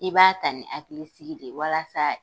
I b'a ta ni hakilisigi de ye walasa